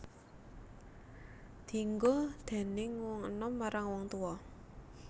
Dienggo déning wong enom marang wong tuwa